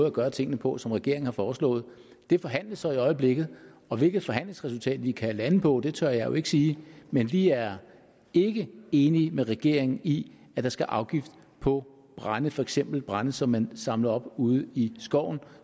at gøre tingene på som regeringen har foreslået det forhandles så i øjeblikket og hvilket forhandlingsresultat vi kan lande på tør jeg jo ikke sige men vi er ikke enige med regeringen i at der skal afgift på brænde for eksempel brænde som man samler op ude i skoven